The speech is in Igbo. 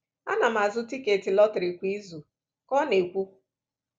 “Ana m azụ tiketi lọtrị kwa izu,” ka ọ na-ekwu.